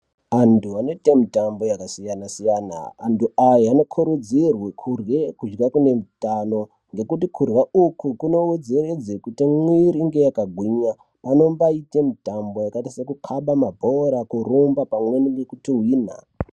Antu anoita mitambo yakasiyana siyana antu aya anokurudzirwa kurye kune hutano ngekuti kurya uku kunowedzererza kuti mwiri iite yakakura pane mbaita mitambo yakaita sekukaba mabhora nekutuhwina.